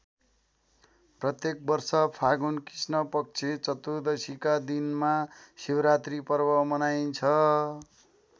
प्रत्येक वर्ष फागुन कृष्णपक्ष चतुर्दशीका दिनमा शिवरात्री पर्व मनाइन्छ।